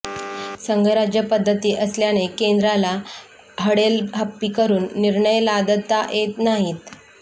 संघराज्य पद्धती असल्याने केंद्राला हडेलहप्पी करून निर्णय लादता येत नाहीत